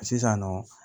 Sisan nɔ